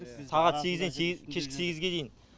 сағат сегізден кешкі сегізге дейін